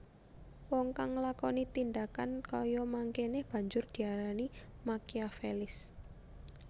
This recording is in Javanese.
Wong kang nglakoni tindhakan kaya mangkéné banjur diarani Makiavelis